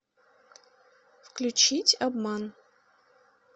включить обман